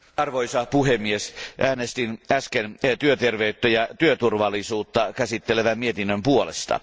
Arvoisa puhemies, äänestin äsken työterveyttä ja työturvallisuutta käsittelevän mietinnön puolesta.